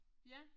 Ja